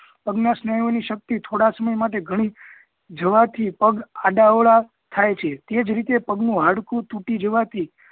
પગના સ્નાયુ ઓ ની શક્તિ થોડા સમય માટે ઘણી જવા થી પગ આડા અવળા થાય છે તેજ રીતે પગ નું હાડકું તૂટી જવા થી